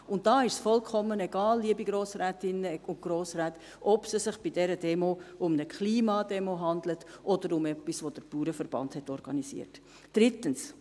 Hier ist es vollkommen egal, liebe Grossrätinnen und Grossräte, ob es sich bei dieser Demo um eine Klimademo handelt oder um etwas, was der Bauernverband organisiert hat.